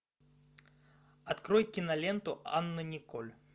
открой киноленту анна николь